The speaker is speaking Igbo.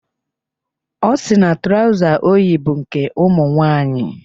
Ọ sị na trọza o yi bụ nke ụmụnwaanyị.